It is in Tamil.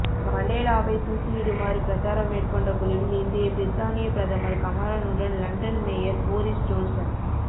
மண்டேலாவைத் தூக்கிலிடுமாறு பிரச்சாரம் மேற்கொண்ட குழுவில் இன்றைய பிரித்தானியப் பிரதமர் கமரனுடன் லண்டன் மேயர் பொரிஸ் ஜோன்சன்